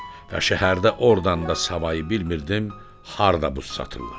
Və şəhərdə ordan da savayı bilmirdim harda buz satırlar.